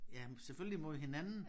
Jamen selvfølgelig mod hinanden